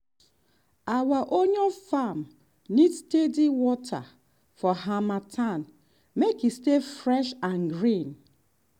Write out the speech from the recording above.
our onion farm need steady water for harmattan make e stay fresh and green.